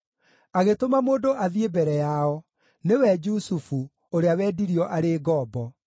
agĩtũma mũndũ athiĩ mbere yao: nĩwe Jusufu, ũrĩa wendirio arĩ ngombo.